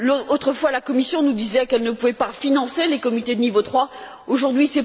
Autrefois, la Commission nous disait qu'elle ne pouvait pas financer les comités de niveau 3, aujourd'hui